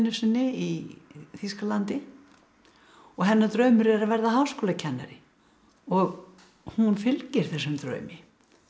sinni í Þýskalandi og hennar draumur er að verða háskólakennari og hún fylgir þessum draumi